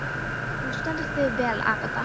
Þú stendur þig vel, Agatha!